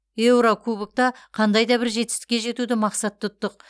еурокубокта қандай да бір жетістікке жетуді мақсат тұттық